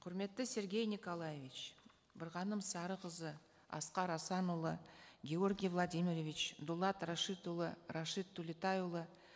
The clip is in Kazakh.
құрметті сергей николаевич бірғаным сарықызы асқар асанұлы георгий владимирович дулат рашидұлы рашид төлетайұлы